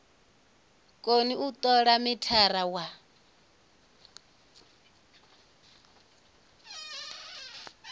koni u tola mithara wa